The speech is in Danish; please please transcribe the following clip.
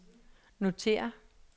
notér